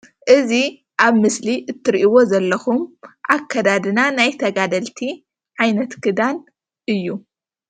እዚ ኣብ ምስሊ እትርእይዎ ዘለኩም ኣከዳድና ናይ ተጋደልቲ ዓይነት ክዳን እዩ::